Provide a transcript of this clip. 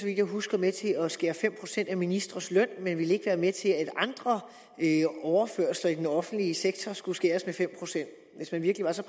jeg husker med til at skære fem procent af ministres løn men ville ikke være med til at andre overførsler i den offentlige sektor skulle skæres ned med fem procent hvis man virkelig var så